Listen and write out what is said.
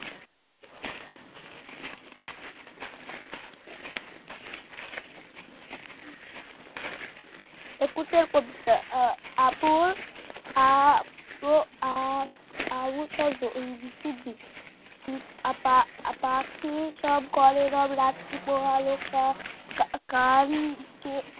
একুশের কবিতা এ আপুর আ আ পাখি সব করে রব রাত্রি পোহাইলো কান